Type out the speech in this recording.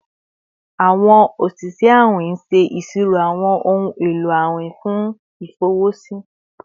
Awọn oṣiṣẹ awin ṣe iṣiro awọn ohun elo awin fun ifọwọsi